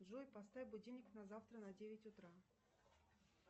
джой поставь будильник на завтра на девять утра